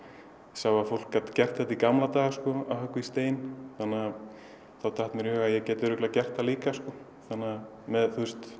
sá að fólk gat gert þetta í gamla daga að höggva í stein þá datt mér í hug að ég gæti gert það líka með